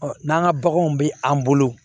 n'an ka baganw bɛ an bolo